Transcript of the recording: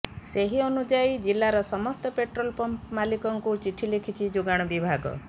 ସେହି ଅନୁଯାୟୀ ଜିଲ୍ଲାର ସମସ୍ତ ପେଟ୍ରୋଲ ପମ୍ପ ମାଲିକଙ୍କୁ ଚିଠି ଲେଖିଛି ଯୋଗାଣ ବିଭାଗ